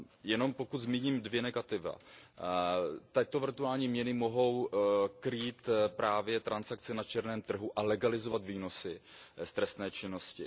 Jenom pokud zmíním dvě negativa. Tyto virtuální měny mohou krýt právě transakce na černém trhu a legalizovat výnosy z trestné činnosti.